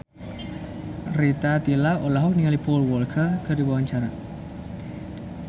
Rita Tila olohok ningali Paul Walker keur diwawancara